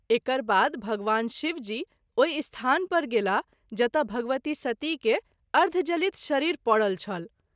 एकरबाद भगवान शिव जी ओहि स्थान पर गेलाह जतय भगवती सती के अर्ध जलित शरीर परल छल।